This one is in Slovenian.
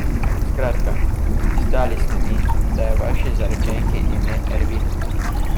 Skratka, izdali ste mi, da je vaši zaročenki ime Ervina.